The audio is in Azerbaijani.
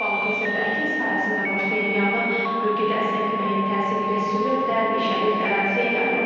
Balıkəsirdə əkin sahəsində başlayan yanğın bölgədə əsən küləyin təsiri ilə sürətlə meşəlik əraziyə yayılıb.